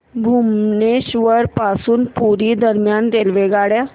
भुवनेश्वर पासून पुरी दरम्यान रेल्वेगाडी